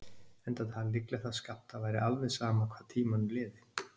Enda talið líklegt að Skapta væri alveg sama hvað tímanum liði.